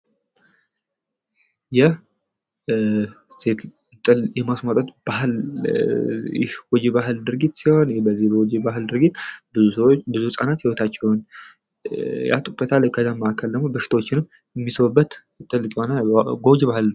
ይህ እንጥል የማስቆ ባህል የባህል ድርጊት በዚህ ጎጂ የባህል ድርጊት ብዙ ህፃናት ህይወታቸውን ያጡበታል። ከዛ ማዕከልም ደግሞ በሽታዎችንም የሚስቡበት ትልቅ የሆነ ጎጂ ባህል ነው።